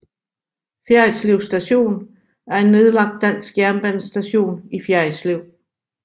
Fjerritslev Station er en nedlagt dansk jernbanestation i Fjerritslev